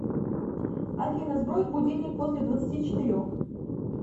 афина сбрось будильник после двадцати четырех